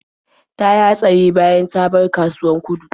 Ta yi hatsari bayan ta bar kasuwar Gudu.